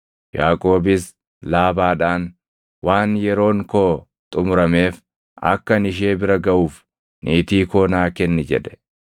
Yaaqoobis Laabaadhaan, “Waan yeroon koo xumurameef akka ani ishee bira gaʼuuf niitii koo naa kenni” jedhe.